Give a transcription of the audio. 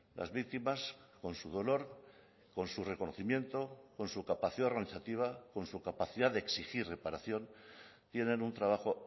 las víctimas con su dolor con su reconocimiento con su capacidad organizativa con su capacidad de exigir reparación tienen un trabajo